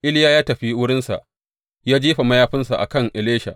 Iliya ya tafi wurinsa ya jefa mayafinsa a kan Elisha.